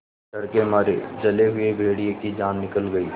डर के मारे जले हुए भेड़िए की जान निकल गई